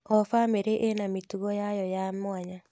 O bamĩrĩ ĩna mĩtugo yayo ya mwanya.